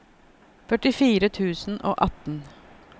førtifire tusen og atten